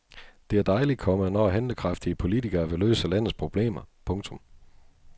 Det er dejligt, komma når handlekraftige politikere vil løse landets problemer. punktum